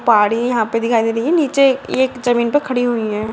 पाड़ी यहाँ पे दिखाई दे रही है नीचे एक एक जमीन पे खड़ी हुई है।